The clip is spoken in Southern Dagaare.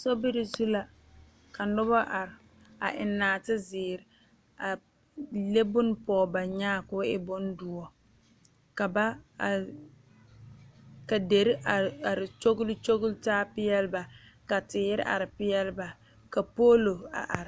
Sobiri zu la ka noba are a eŋ nɔɔtezeere a leŋ bonne pɔge ba nyaa ka o e bondoɔ ka ba are ka deri are are kyogle kyogle taa peɛlle ba ka teere are peɛlle ba ka poolo a are.